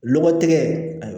Lɔgɔtɛ